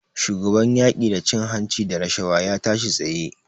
Shugaban yaƙi da cin-hanci da rashawa ya tashi tsaye.